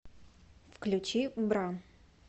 включи бра